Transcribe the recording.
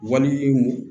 Walimu